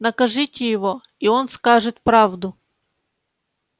накажите его и он скажет правду